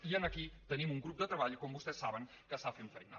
i aquí tenim un grup de treball com vostès saben que està fent feina